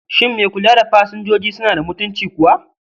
Shin mai kula da pasanjoji suna da mutunci kuwa?